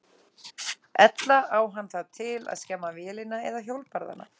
Ella á hann það til að skemma vélina eða hjólbarðana.